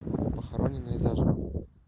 похороненные заживо